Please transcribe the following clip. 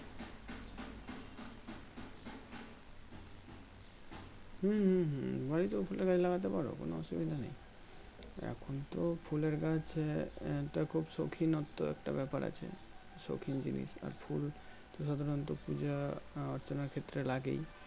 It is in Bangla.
হুম হুম হুম বাড়িতে ফুলের গাছ লাগাতে পারো অসুবিধা নেই এখন তো ফুলের গাছ আহ একটা খুব সৌখিনত্ম একটা ব্যাপার আছে সৌখিন জিনিস আর ফুল সাধারণত পূজা অর্চনার ক্ষেত্রে লাগেই